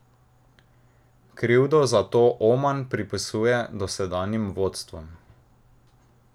Krivdo za to Oman pripisuje dosedanjim vodstvom.